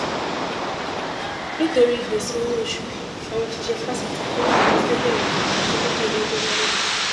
nítorí gbèsè owóoṣù àwọn òṣìṣẹ fásitì ìpínlẹ ondo fee bẹrẹ ìyànṣẹlódì ọlọjọ mẹrìnlá